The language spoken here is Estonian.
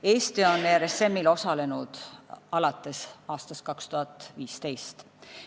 Eesti on RSM-il osalenud alates aastast 2015.